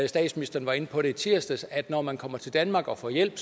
statsministeren var inde på det i tirsdags altså at når man kommer til danmark og får hjælp